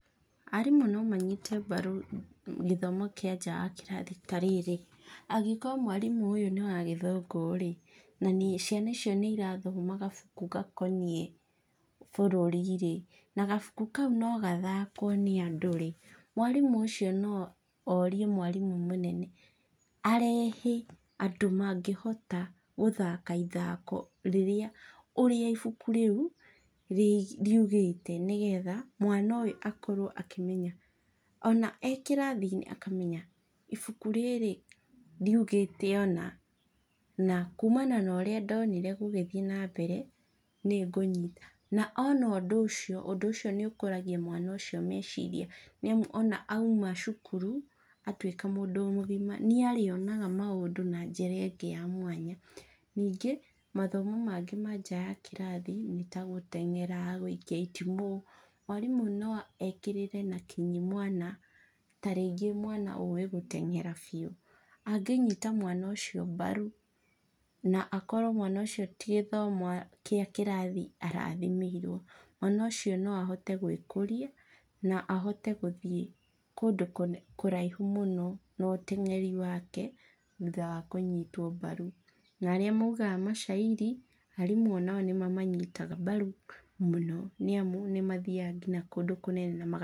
Arimũ no manyite mbaru gĩthomo kĩa nja wa kĩrathi ta rĩrĩ, angĩkorwo mwarimũ ũyũ nĩwagĩthungũ rĩ, na ciana icio nĩ ĩrathoma gabuku gakoniĩ bũrũri rĩ, nagabukũ kau no gathakwo nĩ andũ rĩ, mwarimũ ũcio no orie mwarimũ mũnene arehe andũ mangĩhota gũthaka ithako rĩrĩa ũrĩa ũbukũ rĩũ, rĩ rĩugĩte nĩgetha, mwana ũyũ akorwo akĩmenya, ona ekĩrathiinĩ akamenya ibuku rĩrĩ riũgĩte ũna, na kumana na ũrĩa ndonire gũgĩthiĩ nambere, nĩngũnyita na ona ũndũ ũcio ũndũ ũcio nĩũkũragia mwana ũcio meciria, nĩamu ona auma cukuru, atuĩka mũndũ mũgima nĩarĩonaga maũndũ na njĩra ingĩ yamwanya. Ningĩ mathomo mangĩ ma nja ya kĩrathi, nĩtagũtengeraa, gũikia itimũ, mwarimũ no ekĩrĩre na kinyi mwana taringĩ mwana ũĩ gũtengera biu. angĩnyita mwana ũcio mbaru, na akorwo mwana ũcio ti gĩthemo gĩa kĩrathi arathimĩirwo, mwana ũcio no ahote gwĩkũrĩa, na ahote gũthiĩ kũndũ kũne kũraihu mũno, na ũteng'eri wake, thutha wa kũnyitwo mbaru. Na arĩa maugaga mashairi, arimũ onao nĩmamanyitaga mbaru mũno, nĩamu nĩmathiaga kũndũ kũnene namaga.